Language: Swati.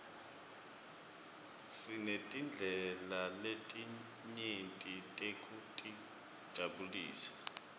sinetindlela letinyeti tekutijabulisa